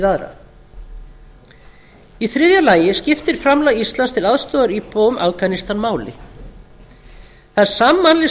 aðra í þriðja lagi skiptir framlag íslands til aðstoðar íbúum afganistan máli það er sammannleg